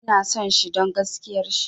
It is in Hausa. Ina son shi don gaskiar shi